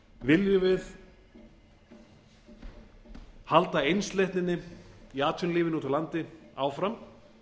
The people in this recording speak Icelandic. viljum við halda einsleitninni í atvinnulífinu úti á landi áfram